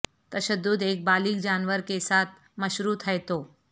تشدد ایک بالغ جانور کے ساتھ مشروط ہے تو